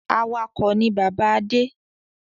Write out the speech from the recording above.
Awakọ̀ ni bàbá Adé.